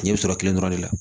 N ɲɛ bɛ sɔrɔ kelen dɔrɔn de la